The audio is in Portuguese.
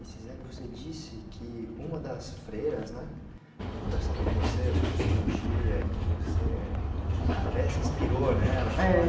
E, Ciseli, você disse que uma das... freiras, né? Ela conversava com você sobre psicologia e que você até se inspirou nela. É